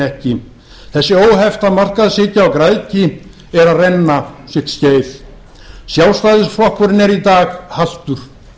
hnekki þessi óhefta markaðshyggja og græðgi er að renna sitt skeið sjálfstæðisflokkurinn er í dag haltur